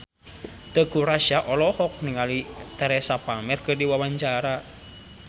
Teuku Rassya olohok ningali Teresa Palmer keur diwawancara